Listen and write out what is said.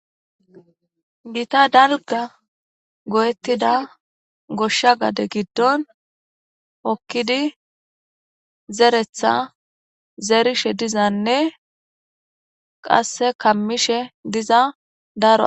Gita dalga goyettida goshsha gade giddon okkidi zeretha zeerishe dizanne qasse kammishe diza daro